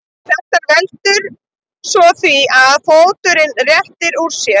Þetta veldur svo því að fóturinn réttir úr sér.